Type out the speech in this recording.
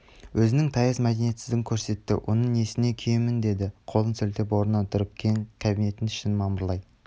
өзінің таяз мәдениетсіздігін көрсетті оның несіне күйінемін деді қолын сілтеп орнынан тұрып кең кабинеттің ішін мамырлай